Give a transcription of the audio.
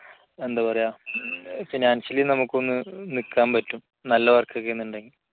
എന്താ പറയാ financially നമുക്കൊന്ന് നിൽക്കാൻ പറ്റും നല്ല work ഒക്കെ ഉണ്ടെന്നുണ്ടെങ്കിൽ